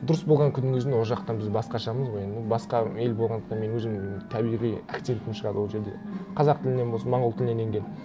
дұрыс болған күннің өзінде ол жақтан біз басқашамыз ғой енді ну басқа ел болғандықтан мен өзімнің табиғи акцентім шығады ол жерде қазақ тілінен болсын монғол тілінен енген